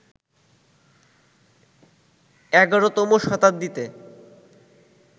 ১১তম শতাব্দীতে